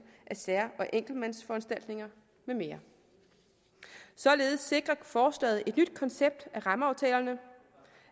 af sær og enkeltmandsforanstaltninger med mere således sikrer forslaget et nyt koncept af rammeaftalerne